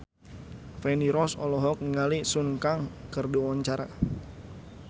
Feni Rose olohok ningali Sun Kang keur diwawancara